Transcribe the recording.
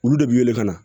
Olu de b'i wele ka na